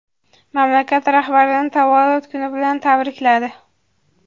mamlakat rahbarini tavallud kuni bilan tabrikladi.